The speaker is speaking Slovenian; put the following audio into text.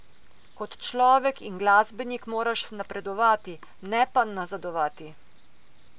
Kot človek in glasbenik moraš napredovati, ne pa nazadovati.